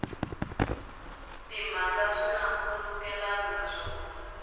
timhaka swi na nkhulukelano naswona